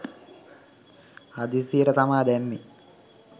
හදිස්සියට තමා දැම්මේ.